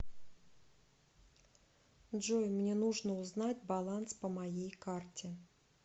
джой мне нужно узнать баланс по моей карте